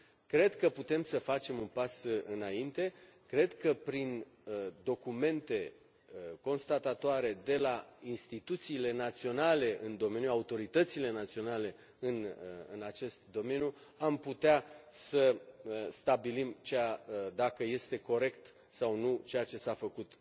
Cred că putem să facem un pas înainte, cred că prin documente constatatoare de la instituțiile naționale în domeniu, autoritățile naționale în acest domeniu, am putea să stabilim dacă este corect sau nu ceea ce s a făcut